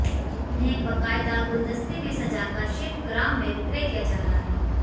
उन्हें बाकायदा गुलदस्ते में सजा कर शिल्पग्राम में विक्रय किया जा रहा है